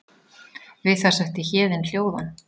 Við það setti Héðin hljóðan.